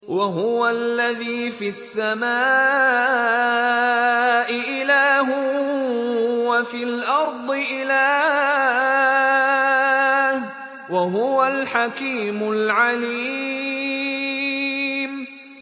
وَهُوَ الَّذِي فِي السَّمَاءِ إِلَٰهٌ وَفِي الْأَرْضِ إِلَٰهٌ ۚ وَهُوَ الْحَكِيمُ الْعَلِيمُ